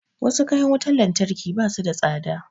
Wasu kayan wutar lantarki ba su da tsada